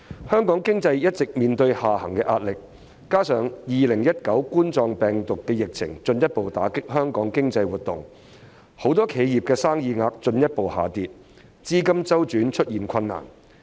香港經濟一直面對下行壓力，加上2019冠狀病毒病疫情進一步打擊香港經濟活動，很多企業的生意額進一步下跌，資金周轉出現困難。